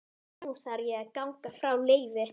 Nú varð ég að ganga frá Leifi.